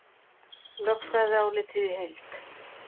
Lögfræðiálitið í heild